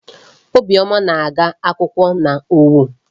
Obiọma na-agụ akwụkwọ n'Owo.